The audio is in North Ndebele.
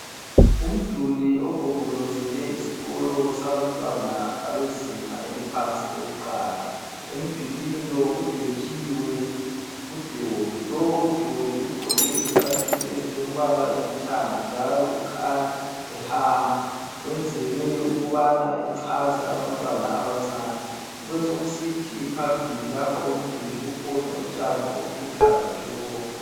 Umduli ogombolozele isikolo sabantwana abezinga eliphansi lokuqala, emdulwini lo kudwetshiwe udoli, udoli lo ugqoke izicathulo ezilombala olithanga njalo kukhanya ehamba wenzelwe ukubana echaze abantwana abancane kubesokusithi phambilii lapha komduli kukhona utshani obuluhlaza tshoko.